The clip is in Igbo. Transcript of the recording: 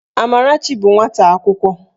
Amarachi bụ nwata akwụkwọ